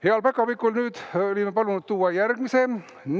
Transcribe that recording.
Heal päkapikul oleme nüüd palunud tuua järgmise paki.